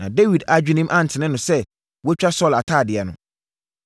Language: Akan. Na Dawid adwenem antene no sɛ watwa Saulo atadeɛ ano.